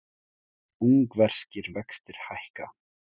Ungverskir vextir hækka